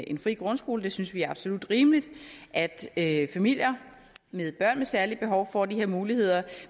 en fri grundskole vi synes det er absolut rimeligt at at familier med børn med særlige behov får de her muligheder